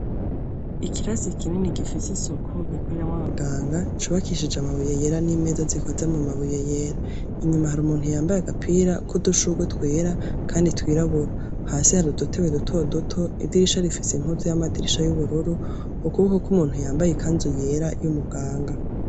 Ikirasi kinini gifis’isuku, gikoreramw’abaganga, cubakishije amabuye yera n’imeza zikoze mumabuye yera. Inyuma har’umuntu yambay’agapira kudushugwe twera Kandi twirabura, hasi harudutebe duto duto, idirisha rifise impome z’amadirisha y’ubururu, ukuboko kw’umuntu yambaye ikanzu yera y’umuganga.